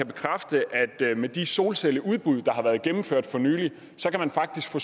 bekræfte at med de solcelleudbud der har været gennemført for nylig kan man faktisk få